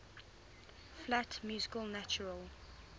flat music natural